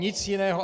Nic jiného.